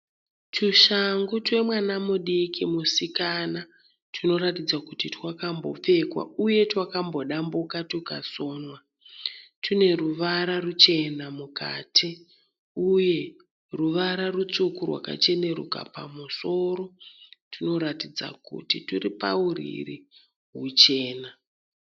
Twushangu twemwana mudiki musikana. Tunoratidza kuti twakambopfekwa uye twakambodambuka twukasonwa. Tune ruvara ruchena mukati uye ruvara rutsvuku rwakacheneruka pamusoro, tunoratidza kuti turi pauriri huchena.